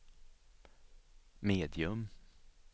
medium